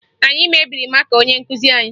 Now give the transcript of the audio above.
Anyị mebiri maka onye nkụzi anyị